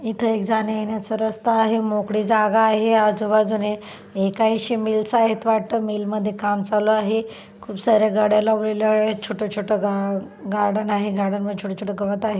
इथ एक जाण्या येण्याचं रस्ता आहे मोकळी जागा आहे आजू-बाजूने हे काहीशी मिल वाटतं मिल मध्ये काम चालू आहे खूप सार्‍या गाड्या लावलेलेल्या आहेत छोट-छोट गा गार्डन आहे गार्डन मध्ये छोट-छोट गवत आहे.